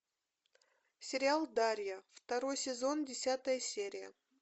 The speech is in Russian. сериал дарья второй сезон десятая серия